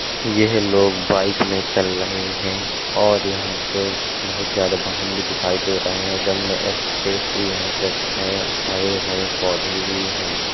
यह लोग बाइक में चल लये हैं और यहाँ पे बोहत ज्यादा बाहन भी दिखाई दे रहे हैं और जमना एक्स्प्रेस भी यहां पे है हरे-भरे पौधे भी हैं।